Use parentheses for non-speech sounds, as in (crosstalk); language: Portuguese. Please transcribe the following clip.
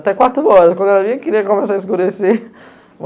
Até quatro horas, quando ela vinha, queria começar a escurecer. (laughs)